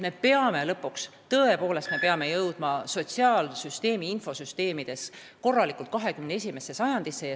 Me peame lõpuks oma sotsiaalsüsteemi infosüsteemidega jõudma 21. sajandisse.